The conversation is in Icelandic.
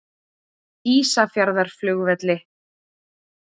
Natalí, bókaðu hring í golf á föstudaginn.